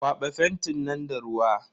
Kwaba fentin nan da ruwa.